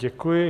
Děkuji.